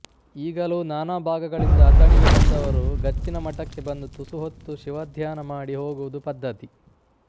ಈಗಲೂ ನಾನಾ ಭಾಗಗಳಿಂದ ಅಥಣಿಗೆ ಬಂದವರು ಗಚ್ಚಿನಮಠಕ್ಕೆ ಬಂದು ತುಸುಹೊತ್ತು ಶಿವಧ್ಯಾನ ಮಾಡಿ ಹೋಗುವುದು ಪದ್ಧತಿ